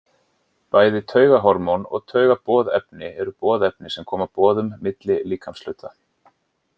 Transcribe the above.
Bæði taugahormón og taugaboðefni eru boðefni sem koma boðum milli líkamshluta.